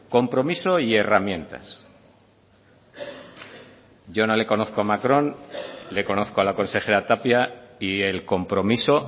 compromiso y herramientas yo no le conozco a macron le conozco a la consejera tapia y el compromiso